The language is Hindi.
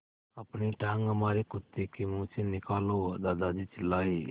अपनी टाँग हमारे कुत्ते के मुँह से निकालो दादाजी चिल्लाए